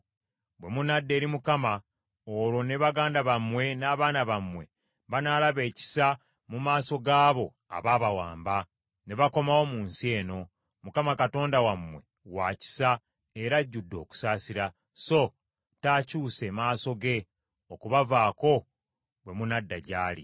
Bwe munadda eri Mukama , olwo ne baganda bammwe n’abaana bammwe banaalaba ekisa mu maaso g’abo abaabawamba, ne bakomawo mu nsi eno. Mukama Katonda wammwe wa kisa era ajjudde okusaasira, so taakyuse maaso ge, okubavaako bwe munadda gyali.”